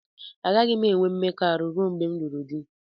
Agaghị m enwe mmekọahụ ruo mgbe m lụrụ di